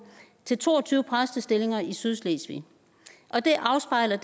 til to og tyve præstestillinger i sydslesvig og det afspejler